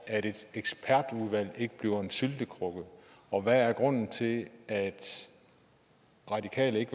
at et ekspertudvalg ikke bliver til en syltekrukke og hvad er grunden til at radikale ikke